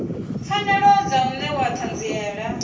pfanelo dza u newa ṱhanziela